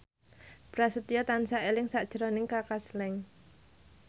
Prasetyo tansah eling sakjroning Kaka Slank